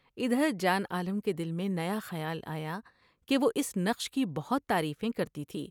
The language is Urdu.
ادھر جان عالم کے دل میں نیا خیال آیا کہ وہ اس نقش کی بہت تعریفیں کرتی تھی ۔